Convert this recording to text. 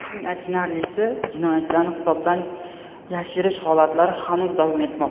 Eng achinarlisi, jinoyatlarni hisobdan yashirish holatlari hanuz davom etmoqda.